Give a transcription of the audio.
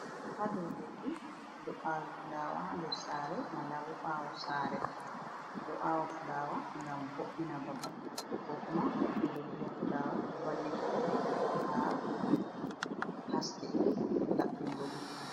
Haɗou leddi ɓe ɗo awi fulawa nder Sare mallabo ɓawo sare, eɗo awa fulawa ngam vo’ina babal ko kuma ɓeɗo vi'a fulawa ɗon valla ha haske vo'ingo labɓingo gite.